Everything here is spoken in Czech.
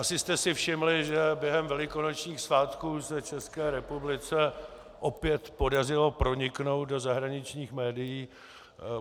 Asi jste si všimli, že během velikonočních svátků se České republice opět podařilo proniknout do zahraničních médií.